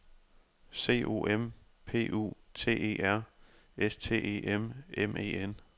C O M P U T E R S T E M M E N